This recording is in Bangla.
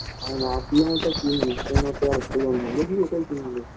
আমি ভাবছিলাম ওটা কিনবো কেনাতো আর হলো না দেখি ওটাই কিনবো